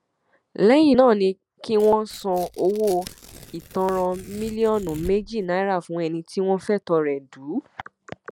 lẹyìn náà ni kí wọn san owó ìtanràn mílíọnù méjì náírà fún ẹni tí wọn fẹtọ rẹ dù ú